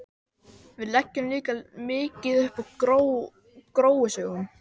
Við leggjum líka mikið upp úr gróusögum.